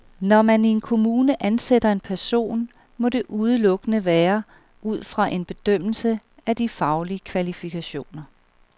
Når man i en kommune ansætter en person, må det udelukkende være ud fra en bedømmelse af de faglige kvalifikationer.